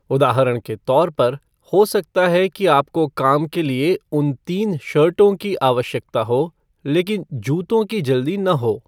उदाहरण के तौर पर, हो सकता है कि आपको काम के लिए उन तीन शर्टों की आवश्यकता हो, लेकिन जूतों की जल्दी न हो।